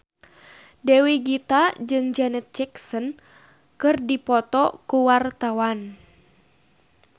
Dewi Gita jeung Janet Jackson keur dipoto ku wartawan